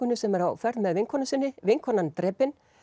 sem er á ferð með vinkonu sinni vinkonan drepin